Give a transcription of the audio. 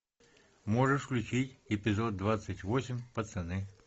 можешь включить эпизод двадцать восемь пацаны